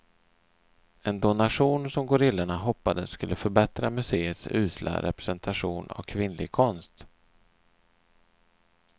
En donation som gorillorna hoppades skulle förbättra museets usla representation av kvinnlig konst.